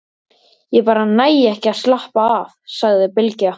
Ég bara næ ekki að slappa af, sagði Bylgja.